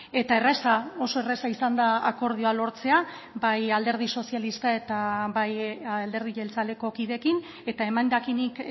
eta erraza oso erraza izan da akordioa lortzea bai alderdi sozialista eta bai alderdi jeltzaleko kideekin eta emendakinik